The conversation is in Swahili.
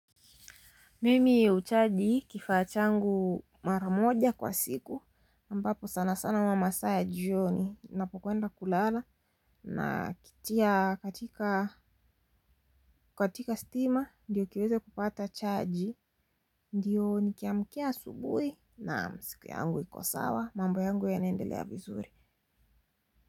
Mimi huchaji kifaa changu mara moja kwa siku ambapo sana sana huwa masaa ya jioni. Ninapokwenda kulala na kitia katika stima ndio kiweze kupata chaji ndio nikiamkia asubui naam siku yangu iko sawa mambo yangu yanaendelea vizuri.